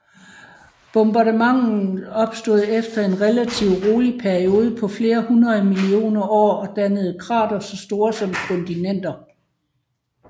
Bombardementet opstod efter en relativ rolig periode på flere hundrede millioner år og dannede kratere så store som kontinenter